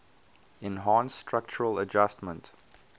enhanced structural adjustment